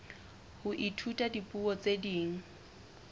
ho ithuta dipuo tse ding